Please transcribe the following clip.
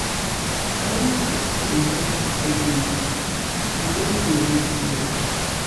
balanced food dey help steady milk na old way wey still work.